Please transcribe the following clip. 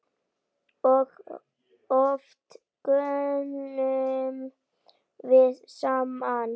Og oft göngum við saman.